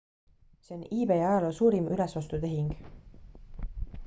see on ebay ajaloo suurim ülesostutehing